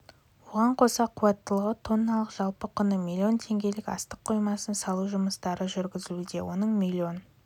оған қоса қуаттылығы тонналық жалпы құны миллион теңгелік астық қоймасын салу жұмыстары жүргізілуде оның миллион